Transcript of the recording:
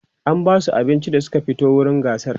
an Basu abinci da Suka fito wurin gasar